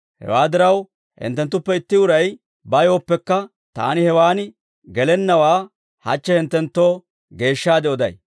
Hewaa diraw, hinttenttuppe itti uray bayooppekka taani hewaan gelennawaa hachche hinttenttoo geeshshaade oday.